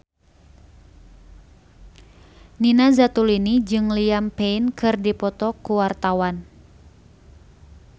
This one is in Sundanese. Nina Zatulini jeung Liam Payne keur dipoto ku wartawan